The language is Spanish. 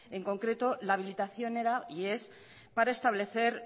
en concreto la habilitación para establecer